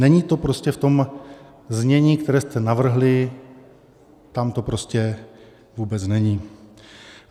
Není to prostě v tom znění, které jste navrhli, tam to prostě vůbec není.